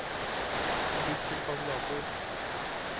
bytt til kalkulator